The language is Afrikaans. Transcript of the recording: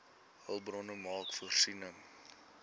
hulpbronne maak voorsiening